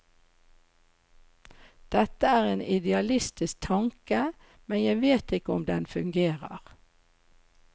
Dette er en idealistisk tanke, men jeg vet ikke om den fungerer.